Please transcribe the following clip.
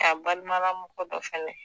K'a balimamɔgɔ dɔ fɛnɛ.